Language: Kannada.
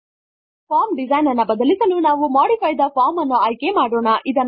ಫಾರ್ಮ್ ಡಿಸೈನ್ ಅನ್ನು ಬದಲಿಸಲು ನಾವು ಮಾಡಿಫೈ ಥೆ ಫಾರ್ಮ್ ಅನ್ನು ಆಯ್ಕೆ ಮಾಡೋಣ